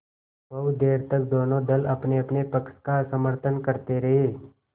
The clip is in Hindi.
बहुत देर तक दोनों दल अपनेअपने पक्ष का समर्थन करते रहे